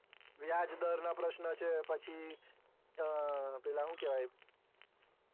વ્યાજ દર ના પ્રશ્ર્નો છે પછી પેલા હું કેવાય